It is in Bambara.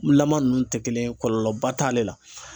Lama ninnu tɛ kelen ye, kɔlɔlɔba t'ale la.